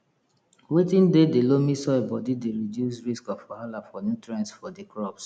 watin dey di loamy soil body dey reduce risk of wahala for nutrients for di crops